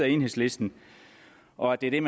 enhedslisten og det er